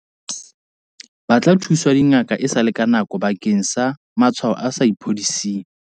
S - Batla thuso ya dingaka esale ka nako bakeng sa matshwao a sa iphodising.